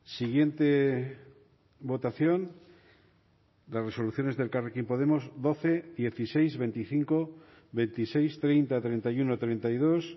siguiente votación las resoluciones de elkarrekin podemos doce dieciséis veinticinco veintiséis treinta treinta y uno treinta y dos